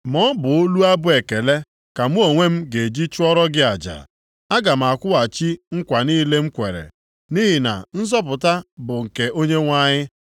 Ma ọ bụ olu abụ ekele ka mụ onwe m ga-eji chụọrọ gị aja. Aga m akwụghachi nkwa niile m kwere. Nʼihi na ‘Nzọpụta bụ nke Onyenwe anyị.’ ”